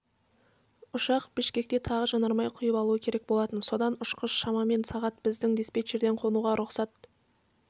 ұшақ бішкекте тағы жанармай құйып алуы керек болатын содан ұшқыш шамамен сағат біздің диспетчерден қонуға рұқсат